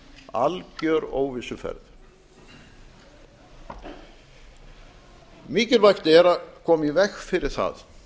algjör óvissuferð mikilvægt er að koma í veg fyrir það